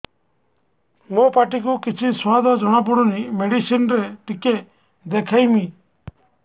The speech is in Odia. ମୋ ପାଟି କୁ କିଛି ସୁଆଦ ଜଣାପଡ଼ୁନି ମେଡିସିନ ରେ ଟିକେ ଦେଖେଇମି